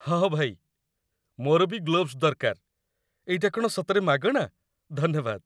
ହଁ ଭାଇ, ମୋର ବି ଗ୍ଲୋଭସ୍ ଦରକାର । ଏଇଟା କ'ଣ ସତରେ ମାଗଣା? ଧନ୍ୟବାଦ!